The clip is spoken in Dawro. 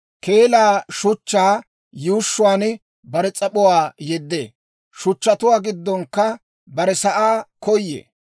Keelaa shuchchaa yuushshuwaan bare s'ap'uwaa yeddee; shuchchatuwaa giddonkka barew sa'aa koyee.